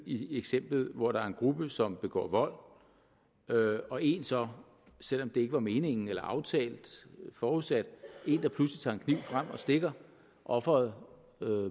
i eksemplet hvor der er en gruppe som begår vold og en så selv om det ikke var meningen eller aftalt eller forudsat pludselig tager en kniv frem og stikker offeret